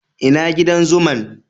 Ina gidan zuman'?